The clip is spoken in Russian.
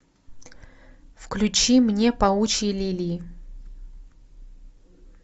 включи мне паучьи лилии